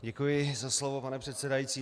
Děkuji za slovo, pane předsedající.